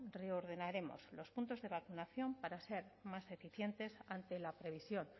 reordenaremos los puntos de vacunación para ser más eficientes ante la previsión